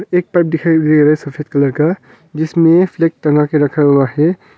एक पाइप दिखाई दे रहा है सफेद कलर का जिसमें फ्लैग टंगा के रखा हुआ है।